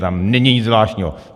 Tam není nic zvláštního.